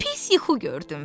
Pis yuxu gördüm.